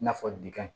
I n'a fɔ bika